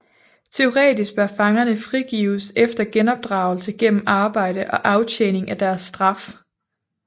Teoretisk bør fangerne frigives efter genopdragelse gennem arbejde og aftjening af deres straf